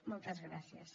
moltes gràcies